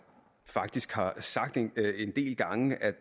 faktisk har sagt en del gange at